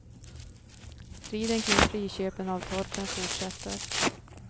Striden kring friköpen av torpen fortsätter.